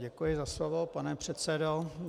Děkuji za slovo, pane předsedo.